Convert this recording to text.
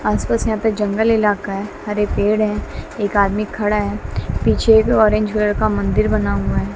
आस पास यहां पे जंगल इलाका है हरे पेड़ है एक आदमी खड़ा है पीछे एक ऑरेंज कलर का मंदिर बना हुआ है।